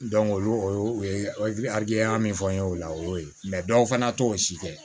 o y'o o ye aliya min fɔ n ye o la o y'o ye dɔw fana t'o si kɛ